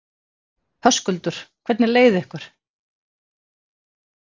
Höskuldur: Hvernig leið ykkur?